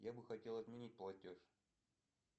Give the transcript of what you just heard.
я бы хотел отменить платеж